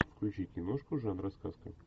включи киношку жанра сказка